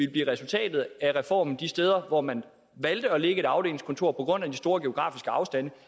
blive resultatet af reformen de steder hvor man valgte at lægge et afdelingskontor på grund af de store geografiske afstande